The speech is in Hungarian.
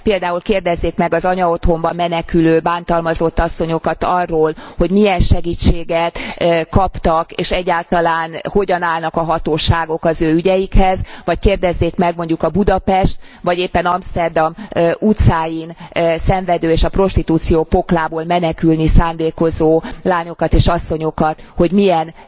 Például kérdezzék meg az anyaotthonba menekülő, bántalmazott asszonyokat arról, hogy milyen segítséget kaptak, és egyáltalán hogyan állnak a hatóságok az ő ügyeikhez, vagy kérdezzék meg mondjuk a Budapest vagy éppen Amszterdam utcáin szenvedő, és a prostitúció poklából menekülni szándékozó lányokat és asszonyokat, hogy milyen